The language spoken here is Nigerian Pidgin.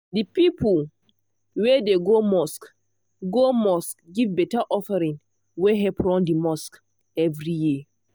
the people wey dey go mosque go mosque give better offering wey help run the mosque every year.